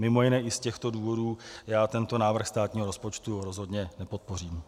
Mimo jiné i z těchto důvodů já tento návrh státního rozpočtu rozhodně nepodpořím.